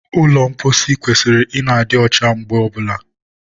ụlọ mposi kwesịrị ị na-adị ọcha mgbe ọbụla